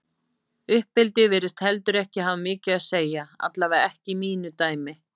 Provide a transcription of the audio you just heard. Uppeldi virðist heldur ekki hafa mikið að segja, allavega ekki í mínu dæmi.